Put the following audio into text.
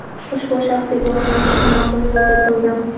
ushbu shaxsiy blogni ochishni maqbul yo‘l deb bildim.